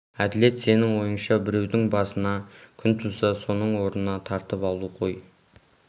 әділет сенің ойыңша біреудің басына күн туса соның орнын тартып алу ғой